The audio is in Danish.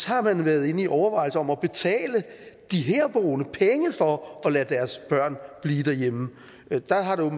har man været inde i overvejelser om at betale de herboende penge for at lade deres børn blive derhjemme